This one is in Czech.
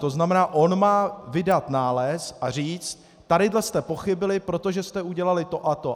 To znamená, on má vydat nález a říct: tady jste pochybili, protože jste udělali to a to.